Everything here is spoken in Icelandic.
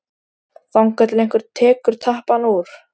Þangað til einhver tekur tappann úr.